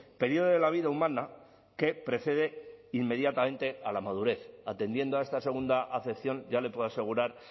período de la vida humana que precede inmediatamente a la madurez atendiendo a esta segunda acepción ya le puedo asegurar